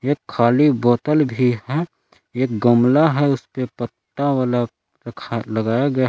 एक खाली बोतल भी है एक गमला है उसपे पत्ता वाला रखा लगाया गया --